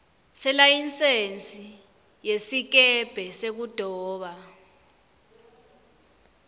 selayisensi yesikebhe sekudoba